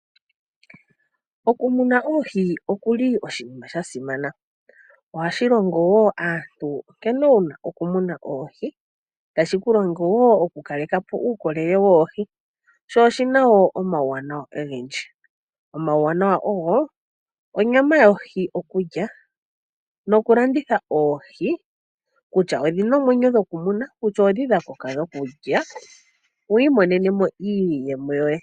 Okumuna oohi osho oshinima sha simana. Ohashi longo wo aantu nkene wu na okumuna oohi, tashi ku longo wo okukaleka po uukolele woohi. Oshi na wo omawuwanawa ogendji. Omawuwanawa ogo onyama yokulya nokulanditha oohi kutya odhi na omwenyo dhokumuna nenge oondhi dha koka dhokulya wi imonene mo iiyemo yoye.